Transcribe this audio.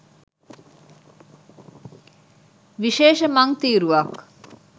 විශේෂ මං තීරුවක්